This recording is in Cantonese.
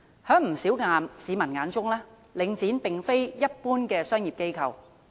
在不少市民眼中，領展並非一般的商業機構。